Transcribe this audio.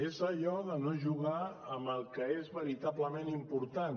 és allò de no jugar amb el que és veritablement important